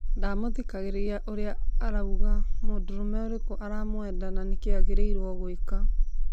Ndamuthikagiriria ũria arauga mũndũrũme ũriku aramwenda na nĩ ndũĩ agĩrĩrwe gwĩka